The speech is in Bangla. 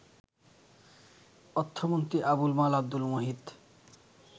অর্থমন্ত্রী আবুল মাল আবদুল মুহিত